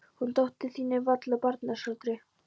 En hún dóttir þín er varla af barnsaldri.